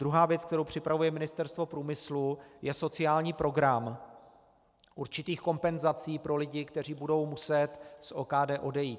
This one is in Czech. Druhá věc, kterou připravuje Ministerstvo průmyslu, je sociální program určitých kompenzací pro lidi, kteří budou muset z OKD odejít.